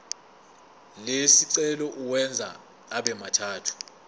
lesicelo uwenze abemathathu